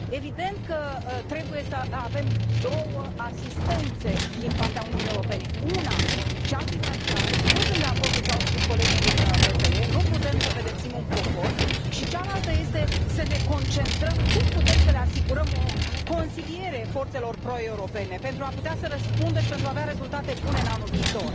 Evident că trebuie să avem două asistențe din partea Uniunii Europene una, cea financiară și nu sunt de acord cu ce au spus colegii din PPE, nu putem să pedepsim un popor și cealaltă este să ne concentrăm pe cum putem să le asigurăm o consiliere forțelor pro europene pentru a putea să răspundă și pentru a avea rezultate bune în anul viitor.